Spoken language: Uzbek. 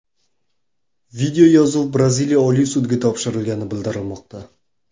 Videoyozuv Braziliya oliy sudiga topshirilgani bildirilmoqda.